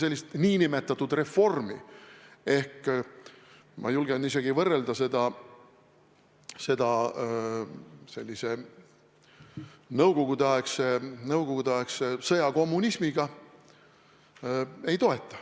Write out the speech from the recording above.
Sellist nn reformi ma julgen isegi võrrelda nõukogudeaegse sõjakommunismiga.